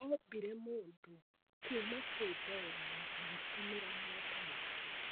Ombire mũndũ kuuma kwĩ ndoro na agĩtũmĩra moko make.